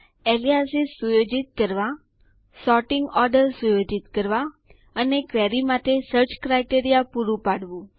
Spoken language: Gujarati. એલયાસીઝ ઉપનામો સુયોજિત કરવા સોર્ટીંગ ઓર્ડર સુયોજિત કરવા અને ક્વેરી માટે સર્ચ ક્રાઈટેરીયા પુરૂ પાડવું